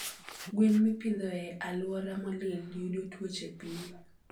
Gwen mipidho e aluora molil yudo tuoche piyo